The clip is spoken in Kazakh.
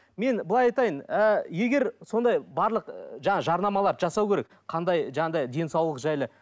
мен былай айтайын ііі егер сондай барлық жаңа жарнамаларды жасау керек қандай жаңағындай денсаулық жайлы